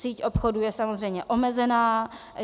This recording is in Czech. Síť obchodů je samozřejmě omezená.